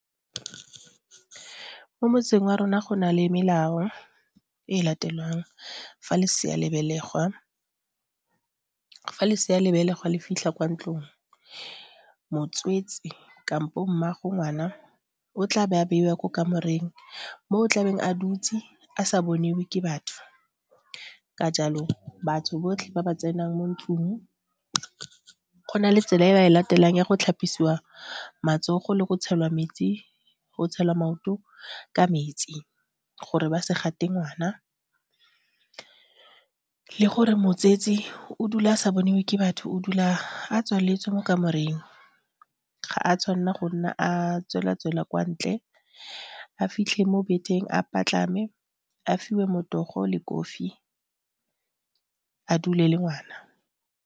Mo motseng wa rona go na le melao e latelwang fa lesea le belegwa le fitlha kwa ntlong. Motswetsi kampo mmaago ngwana o tla be a beiwa ko kamoreng mo o tlabeng a dutse a sa boniwe ke batho ka jalo batho botlhe ba ba tsenang mo ntlong go na le tsela e ba e latelang ya go tlhapisiwa matsogo le go tshelwa metsi maoto ka metsi gore ba se gate ngwana le gore motsetsi o dula a sa bone ke batho o dula a tswaletswe mo kamoreng. Ga a tshwanna go nna a tswela-tswela kwa ntle, a fitlhe mo bed-eng a patlame, a fiwe motogo le kofi a dule le ngwana.